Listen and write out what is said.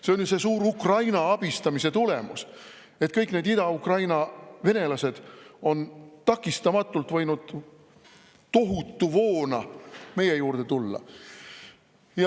See on Ukraina suure abistamise tulemus, et kõik need Ida-Ukraina venelased on võinud takistamatult tohutu voona meie juurde tulla.